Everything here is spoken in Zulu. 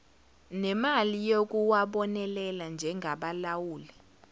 nemali yokuwabonelela njengabalawuli